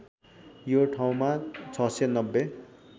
यो ठाउँमा ६९०